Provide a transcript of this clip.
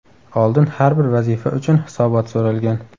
Oldin har bir vazifa uchun hisobot so‘ralgan.